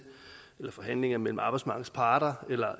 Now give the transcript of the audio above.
forhandlinger mellem arbejdsmarkedets parter eller